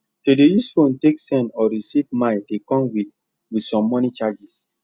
to dey use phone take send or receive mine dey come with with some money charges